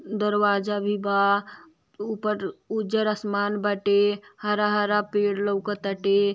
दरवाजा भी बा ऊपर उजर आसमान बाटे हरा-हरा पेड़ लौकत आटे।